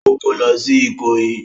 Ó kó lọ sí Ìkòyí?